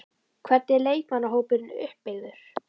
Hvernig er leikmannahópurinn uppbyggður?